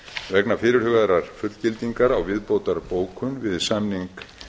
vegna fyrirhugaðrar fullgildingar á viðbótarbókun við samning